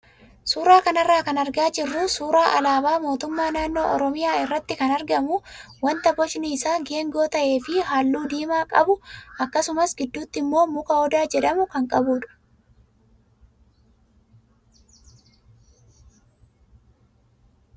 Suuraa kanarraa kan argaa jirru suuraa alaabaa mootummaa naannoo Oromiyaa irratti kan argamu wanta bocni isaa geengoo ta'ee fi halluu diimaa qabu akkasumas gidduutti immoo muka Odaa jedhamu kan qabudha.